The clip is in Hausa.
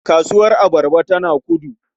Kasuwar abarba tana Kudu.